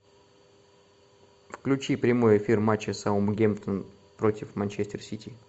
включи прямой эфир матча саутгемптон против манчестер сити